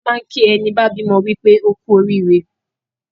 A máa n kì í ẹní bá bímọ wípé ókú orííre